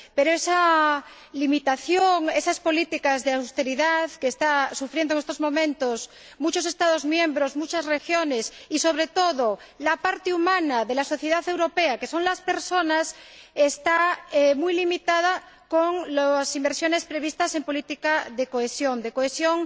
Pero las políticas de austeridad que están sufriendo en estos momentos muchos Estados miembros, muchas regiones y, sobre todo, la parte humana de la sociedad europea, que son las personas, limitan mucho las inversiones previstas en política de cohesión